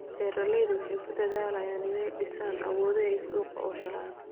Beeraleydu waxay ku dadaalayaan inay dhisaan awoodda ay suuqyo u helaan.